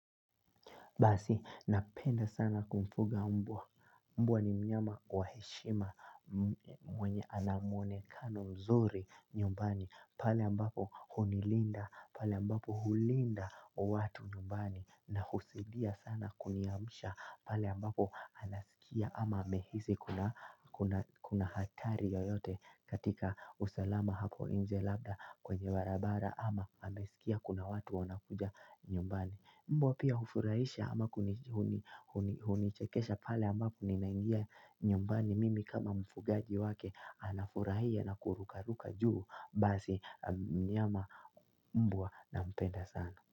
Basi napenda sana kumfuga mbwa, mbwa ni mnyama wa heshima mwenye anamwunekano mzuri nyumbani. Pale ambapo hunilinda, pale ambapo hulinda watu nyumbani na husaidia sana kuniamsha. Pale ambapo anasikia ama amehisi kuna hatari yoyote katika usalama hapo inje labda kwenye barabara ama amesikia kuna watu wanakuja nyumbani. Mbwa pia hufurahisha ama hunichekesha pale ambapo ninaingia nyumbani mimi kama mfugaji wake anafurahia na kurukaruka juu basi mnyama mbwa nampenda sana.